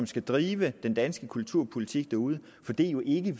skal drive den danske kulturpolitik derude for det er jo ikke